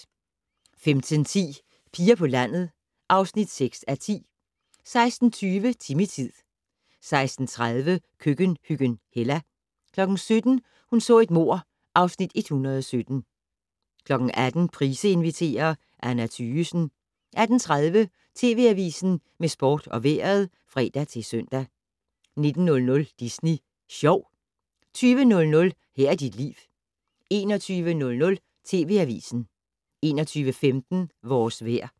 15:10: Piger på landet (6:10) 16:20: Timmy-tid 16:30: Køkkenhyggen Hella 17:00: Hun så et mord (Afs. 117) 18:00: Price inviterer - Anna Thygesen 18:30: TV Avisen med sport og vejret (fre-søn) 19:00: Disney Sjov 20:00: Her er dit liv 21:00: TV Avisen 21:15: Vores vejr